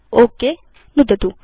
okay नुदतु